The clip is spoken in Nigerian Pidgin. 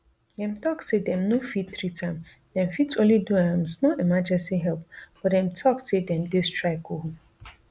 dem tok say dem no fit treat am dem fit only do um small emergency help but dem tok say dem dey strike um